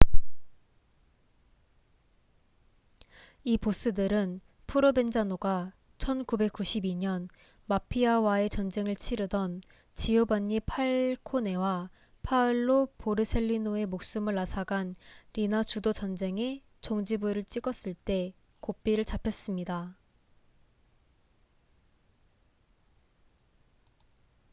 이 보스들은 프로벤자노가 1992년 마피아와의 전쟁을 치르던 지오반니 팔코네와 파올로 보르셀리노의 목숨을 앗아간 리나 주도 전쟁에 종지부를 찍었을 때 고삐를 잡혔습니다